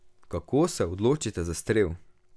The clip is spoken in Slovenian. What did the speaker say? Kako se odločite za strel?